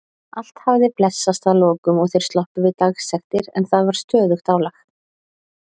Allt hafði blessast að lokum og þeir sloppið við dagsektir en það var stöðugt álag.